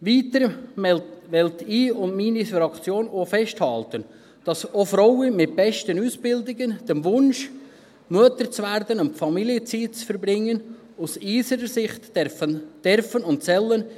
Weiter will ich und will meine Fraktion auch festhalten, dass auch Frauen mit besten Ausbildungen dem Wunsch, Mutter zu werden und Familienzeit zu verbringen, aus unserer Sicht nachleben dürfen und sollen.